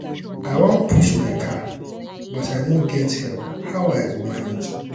i wan push my car but i no get help how i um go manage?